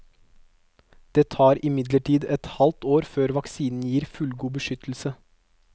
Det tar imidlertid et halvt år før vaksinen gir fullgod beskyttelse.